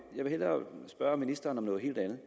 jeg vil hellere spørge ministeren om noget helt andet